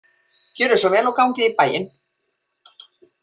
Gjörið svo vel og gangið í bæinn.